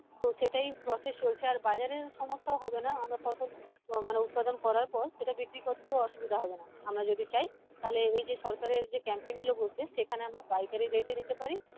তো সেটাই process চলছে আর বাজারেও সমস্ত হবেনা আমরা ফসল মানে উৎপাদন করার পর সেটা বিক্রী করতেইউ অসুবিধা হবেনা আমরা যদি চাই তালে এই যে সরকারের যে camping গুলো বসবে যেখানে আমরা পাইকারি rate এও দিতে পারি